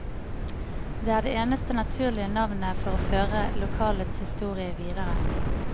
Det er det eneste naturlige navnet for å føre lokalets historie videre.